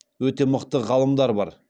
өте мықты ғалымдар бар